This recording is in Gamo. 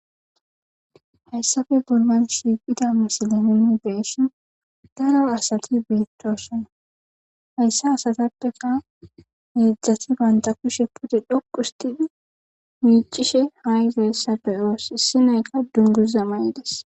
hayssafe bollan shiiqida misile nuuni be'ishin daro asati beettosona. Hayssa asatappeka heedzdzati bantta kushe pute dhoq usttidi miiccishe haa yizeyssa be'oos issinayka dungguza ma'ides.